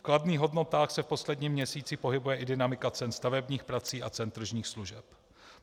V kladných hodnotách se v posledním měsíci pohybuje i dynamika cen stavebních prací a cen tržních služeb.